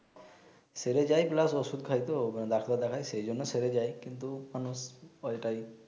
সেরে যায় প্লাস ওষুধ খায় তো ডাক্তার দেখায় সে জন্য সেরে যায় কিন্তু মানুষ ঐ টাই